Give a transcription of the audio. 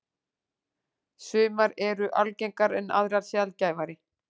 Sumar eru algengar en aðrar sjaldgæfari.